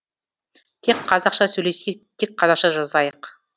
тек қазақша сөйлесейік тек қазақша жазайық